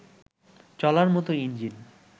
চলার মতো ইঞ্জিন